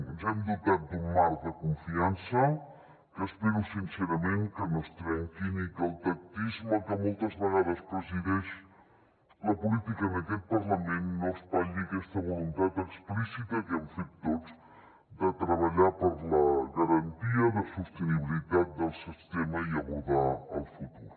ens hem dotat d’un marc de confiança que espero sincerament que no es trenqui i que el tactisme que moltes vegades presideix la política en aquest parlament no espatlli aquesta voluntat explícita que hem fet tots de treballar per la garantia de sostenibilitat del sistema i abordar el futur